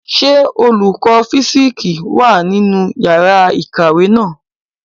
Ṣé olùkọ fisiksi wá nínú yàrá ìkàwé náà?